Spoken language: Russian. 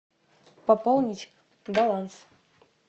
пополнить баланс